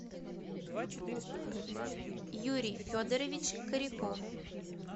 юрий федорович кореков